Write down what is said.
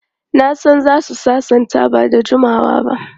Na san za su sasanta ba da jimawa ba.